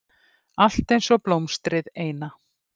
Allt einsog blómstrið eina.